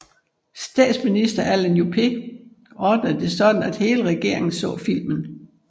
Statsminister Alain Juppé ordnede det sådan at hele regeringen så filmen